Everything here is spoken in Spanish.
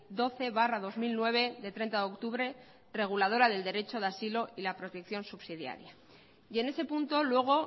doce barra dos mil nueve de treinta de octubre reguladora del derecho de asilo y la protección subsidiaria y en ese punto luego